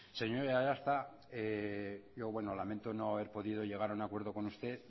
señor aiartza yo bueno lamento no haber podido llegar a un acuerdo con usted